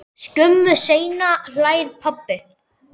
Skömmu seinna hlær pabbi.